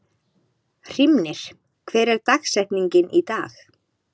Hrímnir, hver er dagsetningin í dag?